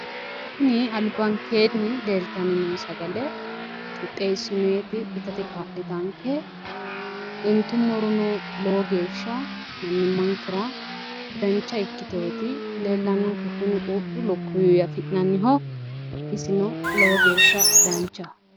Tini albankeennni leeltanni noo sagale qixxeessinoyiti itate kaa'litaanke intummorono lowo geeshsha mannimmankera dancha ikkiteewoti leellannonke, kuni quuphu lukkuwuwi afi'nananniho, isino lowo geeshsha danchaho.